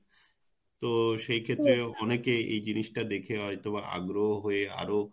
তো সেই ক্ষেত্রে অনেকে এই জিনিস টা দেখে হয়তোবা আগ্রহ হয়ে আরো